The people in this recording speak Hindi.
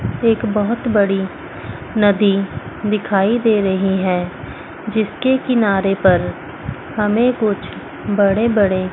एक बहोत बड़ी नदी दिखाई दे रही हैं जिसके किनारे पर हमें कुछ बड़े बड़े--